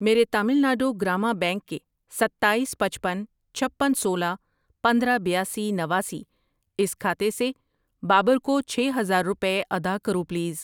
میرے تامل ناڈو گرامہ بینک کے ستایس، پچپن، چھپن، سولہ، پندرہ، بیاسی، نواسی اس کھاتے سے بابر کو چھ ہزار روپے ادا کرو پلیز۔